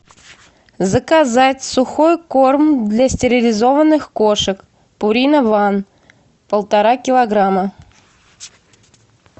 заказать сухой корм для стерилизованных кошек пурина ван полтора килограмма